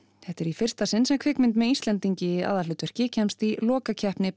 þetta er í fyrsta sinn sem kvikmynd með Íslendingi í aðalhlutverki kemst í lokakeppni